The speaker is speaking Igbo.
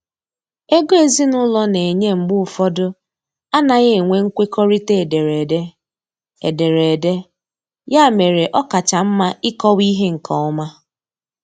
Ego ezinụlọ na enye mgbe ụfọdụ anaghị enwe nkwekọrịta ederede, ederede, ya mere ọ kacha mma ịkọwa ihe nkeọma